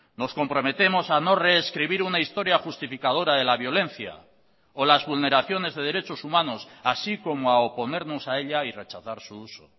nos comprometemos a no rescribir una historia justificadora de la violencia o las vulneraciones de derechos humanos así como a oponernos a ella y rechazar su uso